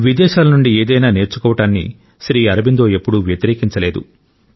విదేశాల నుండి ఏదైనా నేర్చుకోవడాన్ని శ్రీ అరబిందో ఎప్పుడూ వ్యతిరేకించలేదు